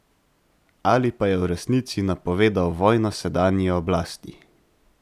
Ali pa je v resnici napovedal vojno sedanji oblasti?